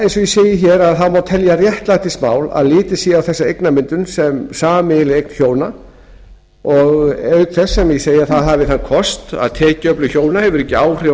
eins og segir hér má telja réttlætismál að litið sé á þessa eignamyndun sem sameiginlega eign hjóna auk sem það hafi þann kost að tekjuöflun hjóna hefur ekki áhrif